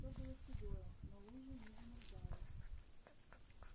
все было седое но лужи не замерзали